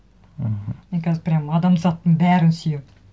мхм мен қазір прямо адамзаттың бәрін сүйемін